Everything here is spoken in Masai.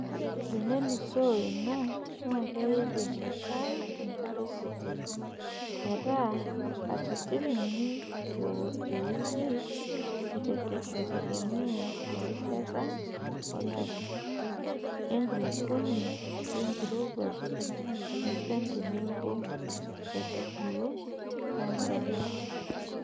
Tenelusoo ina naa keidimi aitaa enkare kiti metaa katitin uni teweiki aitegemea erishata olari, enkulukuoni, enkirowuaj, enchan tenebo nkaitubulu too ntona.